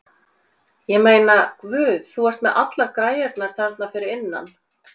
Ég meina, Guð, þú ert með allar græjurnar þarna fyrir innan.